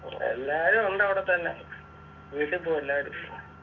എല്ലാരും ഉണ്ട് അവിടെത്തന്നെ വീട്ട് പോയി എല്ലാരും